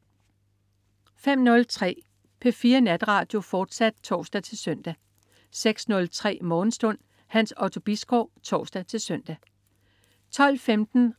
05.03 P4 Natradio, fortsat (tors-søn) 06.03 Morgenstund. Hans Otto Bisgaard (tors-søn) 12.15